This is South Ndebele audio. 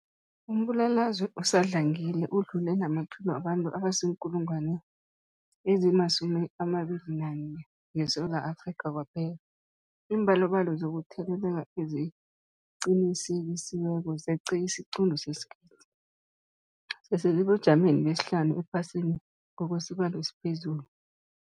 Umbulalazwe usadlangile udlule namaphilo wabantu abaziinkulungwana ezi-11 ngeSewula Afrika kwaphela. Iimbalobalo zokutheleleka eziqinisekisiweko zeqe isiquntu sesigidi, sisesebujameni besihlanu ephasini ngokwesibalo esiphezulu.